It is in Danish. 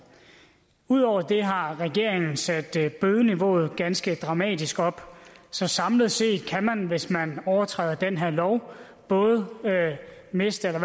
ud over det har regeringen sat bødeniveauet ganske dramatisk op så samlet set kan man hvis man overtræder den her lov både miste eller